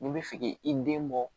N'i bɛ fe k'i den bɔ